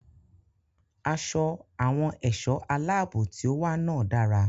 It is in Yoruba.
Aṣọ àwọn ẹ̀ṣọ́ aláàbò tí ó wà náà dára.